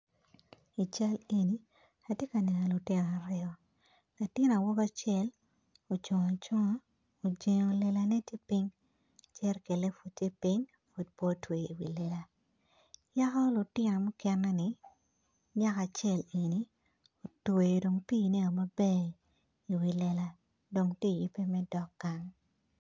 I cal eni atye kaneno lutino aryo latin awobi acel ocung acunga ojingo lela jericanne pud tye ping, pud me otyewo lela, yako lutino mukene ni nyako acel eni otweo dong pi ne maber i wi lela dong tye yobe me dok gang